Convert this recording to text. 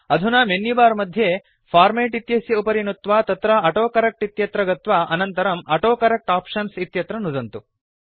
अधुना मेन्युबार मध्ये फॉर्मेट् इत्यस्य उपरि नुत्वा तत्र ऑटोकरेक्ट इत्यत्र गत्वा अनन्तरं ऑटोकरेक्ट आप्शन्स् इत्यत्र नुदन्तु